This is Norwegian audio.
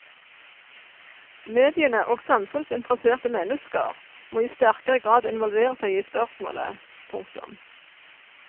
Mediene og samfunnsinteresserte mennesker må i sterkere grad involvere seg i spørsmålet. punktum